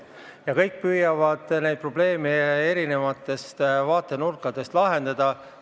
Ja kõik püüavad neid probleeme erinevatest vaatenurkadest lahendada.